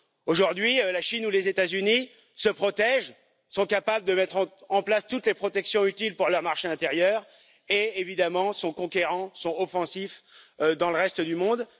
Aujourd'hui, la Chine ou les États Unis se protègent, sont capables de mettre en place toutes les protections utiles pour leur marché intérieur et, évidemment, sont conquérants, offensifs, dans le reste du monde.